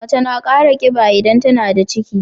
Mace na Kara kiba idan tAnada ciki